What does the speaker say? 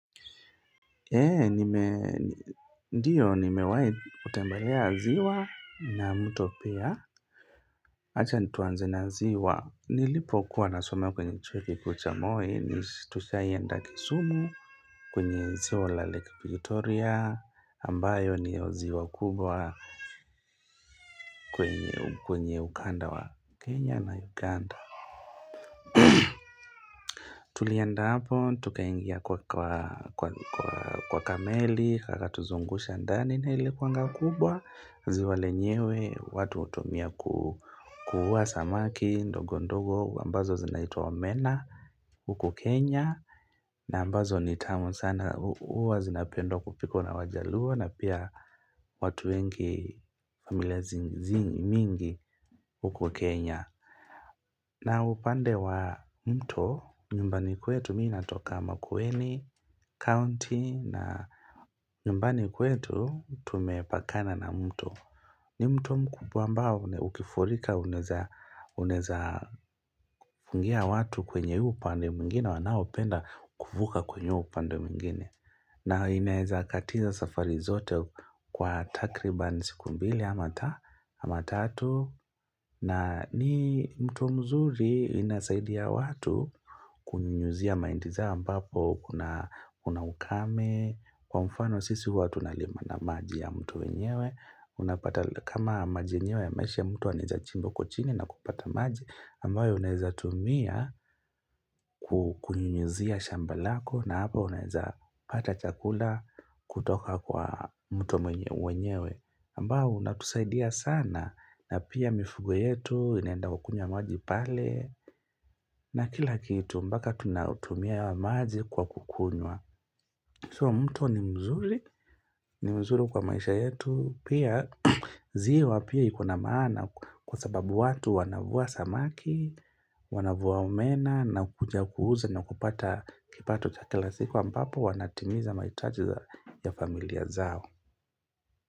Ndiyo, nimewahi kutembelea ziwa na mto pia. Acha tuanze na ziwa. Nilipo kuwa nasomea kwenye chuo kikuu cha Moi. Ni, tushaienda kisumu kwenye ziwa la lake Victoria. Ambayo ndiyo ziwa kubwa kwenye ukanda wa Kenya na Uganda. Tulienda hapo, tukaingia kwa ka meli. Kakatuzungusha ndani na ilikuwanga kubwa. Ziwa lenyewe watu hutumia kuvua samaki ndogo ndogo ambazo zinaitwa omena huku Kenya na ambazo ni tamu sana huwa zinapendwa kupikwa na wajaluo na pia watu wengi, familia mingi huko Kenya, na upande wa mto nyumbani kwetu, mimi natoka Makueni County na nyumbani kwetu tumepakana na mto ni mto mkubwa ambao, ukifurika, unaweza fungia watu kwenye huu upande mwingine, wanaopenda kuvuka kwenye huu upande mwingine. Na inaweza katiza safari zote kwa takriban mbili ama tatu. Na ni mto mzuri inasaidia watu kunyunyuzia mahindi zao ambapo kuna ukame. Kwa mfano sisi huwa tunalima na maji ya mto wenyewe. Unapata kama maji yenyewe yameisha, mtu anaweza chimba huko chini na kupata maji ambayo unawezatumia kunyunyuzia shamba lako na hapo unaweza pata chakula kutoka kwa mto wenyewe ambao unatusaidia sana na pia mifugo yetu inaenda kukunywa maji pale na kila kitu mpaka tunatumia ya maji kwa kukunywa, So mto ni mzuri, ni mzuri kwa maisha yetu, pia ziwa pia ikona maana kwa sababu watu wanavua samaki, wanavua omena na kuja kuuza na kupata kipato cha kila siku, ambapo wanatimiza mahitaji ya familia zao.